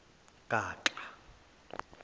gaxa